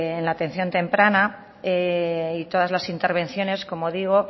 en la atención temprana y todas las intervenciones como digo